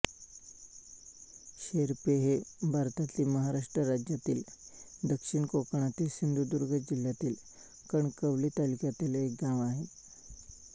शेरपे हे भारतातील महाराष्ट्र राज्यातील दक्षिण कोकणातील सिंधुदुर्ग जिल्ह्यातील कणकवली तालुक्यातील एक गाव आहे